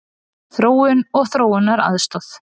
Þróun og þróunaraðstoð.